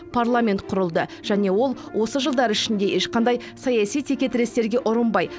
парламент құрылды және ол осы жылдар ішінде ешқандай саяси текетірестерге ұрынбай